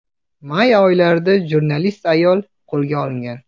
May o‘rtalarida jurnalist ayol qo‘lga olingan.